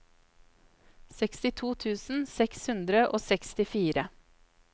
sekstito tusen seks hundre og sekstifire